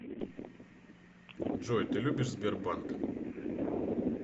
джой ты любишь сбербанк